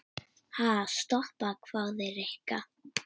Ha, stoppa? hváði Rikka.